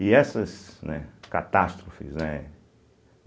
E essas, né, catástrofes, né?